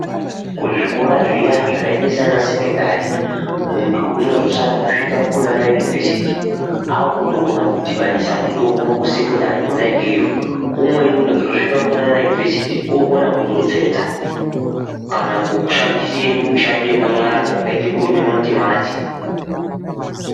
Kuzvikora zviya zvakaita saana sekondari muntu unozosare kusvika kunana yunivhesiti akutokona kudhibhanisa mitombo kusekondari kona ikeyo umweni unozosvika kuana yunivhesiti okona kutotsetsa kana kushandise mishando yemanyara yakaite kurima matimati.